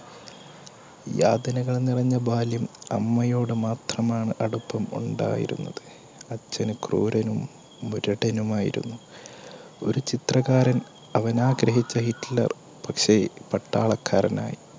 യാതനകൾനിറഞ്ഞ ബാല്യം അമ്മയോട് മാത്രമാണ് അടുപ്പം ഉണ്ടായിരുന്നത്. അച്ഛൻ ക്രൂരനും മുരടനും ആയിരുന്നു. ഒരു ചിത്രകാരൻ അവനാഗ്രഹിച്ച ഹിറ്റ്ലർ പക്ഷേ പട്ടാളക്കാരനായിരുന്നു.